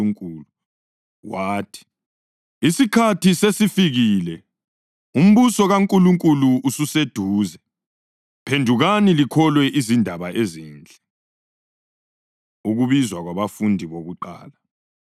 Wathi, “Isikhathi sesifikile. Umbuso kaNkulunkulu ususeduze. Phendukani likholwe izindaba ezinhle!” Ukubizwa Kwabafundi Bokuqala